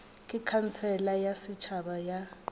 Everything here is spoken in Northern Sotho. ge khansele ya setšhaba ya